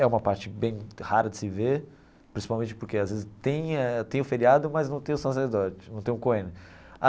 É uma parte bem rara de se ver, principalmente porque às vezes tem eh tem o feriado, mas não tem o sacerdote não tem o Cohen.